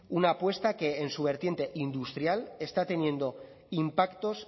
una apuesta que en su vertiente industrial está teniendo impactos